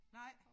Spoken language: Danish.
Nej